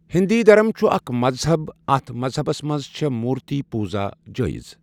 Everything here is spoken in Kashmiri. ہیٚنٛدۍ درٕم چھُ اکھ مذہب اتھ مذہَبس منٛز چھےٚ مورتی پوجا جٲیز۔